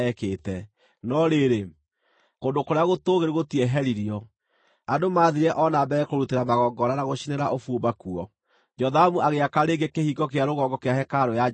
No rĩrĩ, kũndũ kũrĩa gũtũũgĩru gũtieheririo; andũ maathiire o na mbere kũrutĩra magongona na gũcinĩra ũbumba kuo. Jothamu agĩaka rĩngĩ kĩhingo kĩa rũgongo kĩa hekarũ ya Jehova.